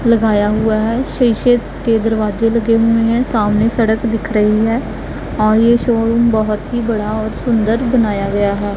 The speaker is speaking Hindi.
लगाया हुआ है। शीशे के दरवाजे लगे हुए है सामने सड़क दिख रही है और ये शोरुम बहोत बड़ा ही और सुन्दर बनाया गया है।